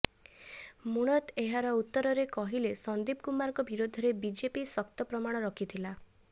ମୁଣତ ଏହାର ଉତ୍ତରରେ କହିଲେ ସନ୍ଦୀପ କୁମାରଙ୍କ ବିରୋଧରେ ବିଜେପି ଶକ୍ତ ପ୍ରମାଣ ରଖିଥିଲା